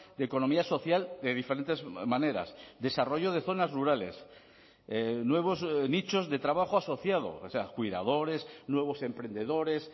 de economía social de diferentes maneras desarrollo de zonas rurales nuevos nichos de trabajo asociado o sea cuidadores nuevos emprendedores